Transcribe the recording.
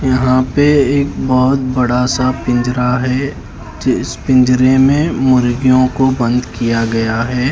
यहाँ पे एक बहुत बड़ा सा पिंजरा हैं जिस पिंजरे में मुर्गियों को बंद किया गया हैं ।